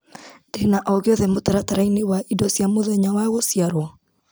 Ndĩna o gĩothe mũtaratara-inĩ wa indo cia mũthenya wa gũciarwo?